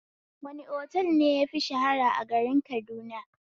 Wani otal ne yafi shahara a garin Kaduna?